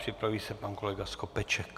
Připraví se pan kolega Skopeček.